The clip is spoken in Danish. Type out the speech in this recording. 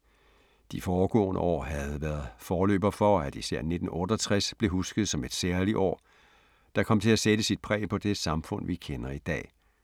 De foregående år havde været forløber for, at især 1968 blev husket som et særligt år, der kom til at sætte sit præg på det samfund, vi kender i dag.